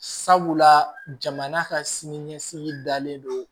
Sabula jamana ka sini ɲɛsigi dalen do